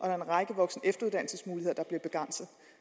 er en række voksen